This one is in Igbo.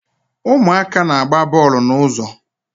Ụmụaka na-agba bọọlụ n'ụzọ